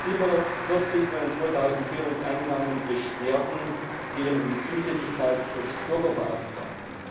740 von den 2400 eingegangenen Beschwerden fielen in die Zuständigkeit des Bürgerbeauftragten.